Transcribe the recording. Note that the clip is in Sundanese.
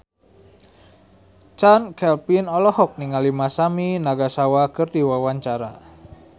Chand Kelvin olohok ningali Masami Nagasawa keur diwawancara